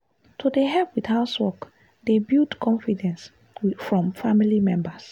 to dey help with housework dey build confidence from family members.